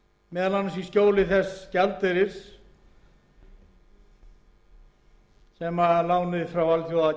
meðal annars í skjóli þess gjaldeyris sem lánið frá alþjóðagjaldeyrissjóðnum veitir okkur og